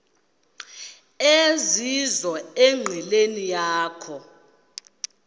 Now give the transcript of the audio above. ezizizo enqileni yakho